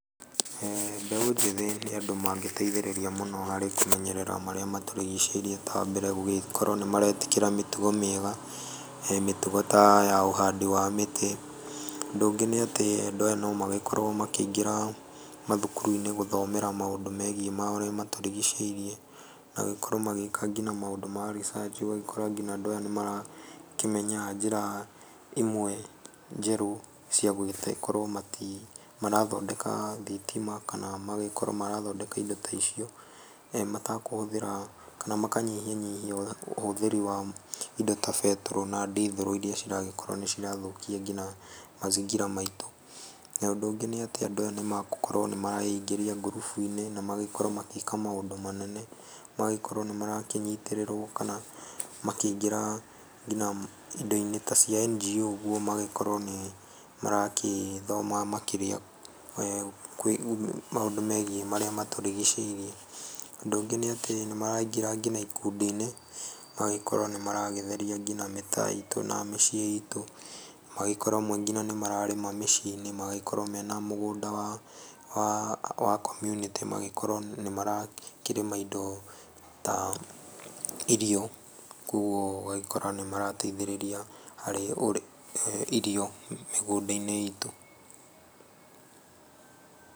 Mbeũ njĩthĩ nĩ andũ mangĩteithĩrĩria mũno harĩ kũmenyerera marĩa matũrigĩcĩirie ta mbere gũkorwo nĩ maretĩkĩra mĩtugo mĩega, mĩtugo ta ya ũhandi wa mĩtĩ, ũndũ ũngĩ nĩ atĩ andũ aya no magĩkorwo makĩingĩra mathukuru-inĩ gũthomera maũndũ megiĩ marĩa matũrigicĩirie, nagũgĩkorwo magĩka nginya maũndũ ma research, ũgagĩkora nginya andũ aya nĩ marakĩmenya njĩra imwe njerũ ciagũgĩkorwo mati marathondeka thitima kana magagĩkorwo marathondeka indo ta icio, matakũhũthĩra, kana makanyihanyihia ũhũthĩri wa indo ta betũrũ kana ndithũrũ iria ciragĩkorwo nĩ cirathũkia nginya mazingira maitũ. Ũndũ ũngĩ nĩ atĩ andũ aya nĩ magũkorwo nĩ mareingĩria ngurubu-inĩ na magakorwo magĩka maũndũ manene, magagĩkorwo nĩ marakĩnyitĩrĩrwo kana makĩingĩra nginya indo-inĩ ta cia NGO ũguo magagĩkorwo nĩ maragĩthoma makĩria maũndũ megiĩ marĩa matũrigicĩirie. Ũndũ ũngĩ nĩ atĩ nĩ maraingĩra nginya ikundi-inĩ, magagĩkorwo nĩ maratheria nginya mĩtaa itũ na mĩciĩ itũ, magagĩkorwo amwe nginya nĩ mararĩma mĩciĩ-inĩ, magagĩkorwo mena mũgũnda wa wa community magagĩkorwo nĩ marakĩrĩma indo ta irio koguo ũgagĩkora nĩ marateithĩrĩria harĩ irio mĩgũnda-inĩ itũ.